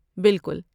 بالکل۔